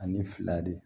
Ani fila de